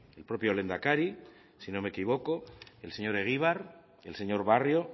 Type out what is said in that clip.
el propio lehendakari si no me equivoco el señor egibar el señor barrio